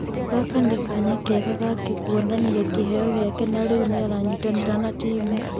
Gaka nĩ kanya kega gake kuonania kĩheyo gĩake na rĩu nĩ aranyitanĩra na timu".